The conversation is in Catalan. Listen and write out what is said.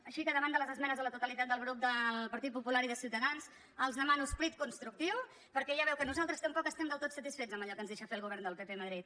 així que davant de les esmenes a la totalitat del grup del partit popular i de ciutadans els demano esperit constructiu perquè ja veu que nosaltres tampoc estem del tot satisfets amb allò que ens deixa fer el govern del pp a madrid